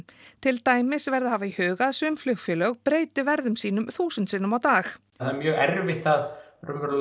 til dæmis verði að hafa í huga að sum flugfélög breyti verði sínu þúsund sinnum á dag það er mjög erfitt að